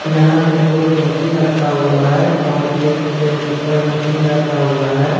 यहाँ पे दो कुर्सी रखा हुआ है और एक ऊपर मशीन रखा हुआ है।